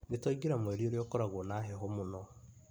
Nĩtwaingira mweri ũria ũkoragwo na heho mũno